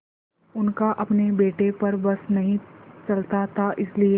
उनका अपने बेटे पर बस नहीं चलता था इसीलिए